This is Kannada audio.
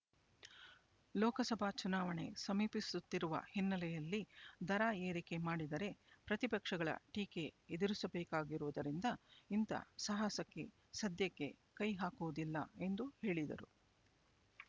ಲೋಕಸಭಾ ಚುನಾವಣೆ ಸಮೀಪಿಸುತ್ತಿರುವ ಹಿನ್ನೆಲೆಯಲ್ಲಿ ದರ ಏರಿಕೆ ಮಾಡಿದರೆ ಪ್ರತಿಪಕ್ಷಗಳ ಟೀಕೆ ಎದುರಿಸಬೇಕಾಗಿರುವುದರಿಂದ ಇಂಥ ಸಾಹಸಕ್ಕೆ ಸದ್ಯಕ್ಕೆ ಕೈ ಹಾಕುವುದಿಲ್ಲ ಎಂದು ಹೇಳಿದರು